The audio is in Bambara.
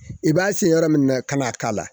I b'a sin yɔrɔ min na, ka na a k'a la